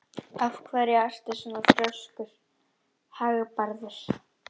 Af hverju ertu svona þrjóskur, Hagbarður?